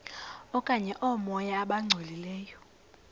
okanye oomoya abangcolileyo